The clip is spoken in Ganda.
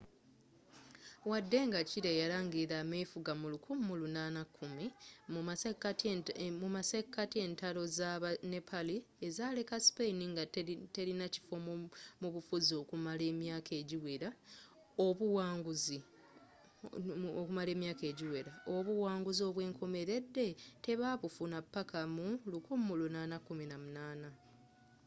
waddenga chile yalangilira amefuga mu 1810 mumasekati entalo z’aba nepali ezaleka spain nga telinakiffo mu bufuzi okumala emyaaka egiwera obuwanguzi obwenkomeledde tebabufuna paka mu 1818